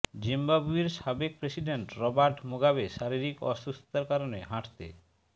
জিম্বাবুয়ের সাবেক president Robert Mugabe শারীরিক অসুস্থতার কারণে হাঁটতে